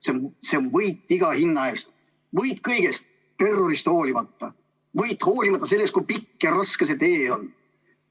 See on võit iga hinna eest, võit kõigest, terrorist hoolimata, võit hoolimata sellest, kui pikk ja raske see tee on.